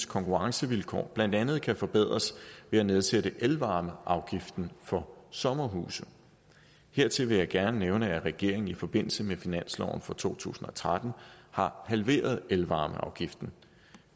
konkurrencevilkår blandt andet kan forbedres ved at nedsætte elvarmeafgiften for sommerhuse hertil vil jeg gerne nævne at regeringen i forbindelse med finansloven for to tusind og tretten har halveret elvarmeafgiften